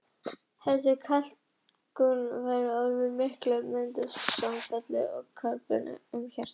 Þessi kalkútfelling getur orðið svo mikil að það myndist samfelld kalkbrynja um hjartað.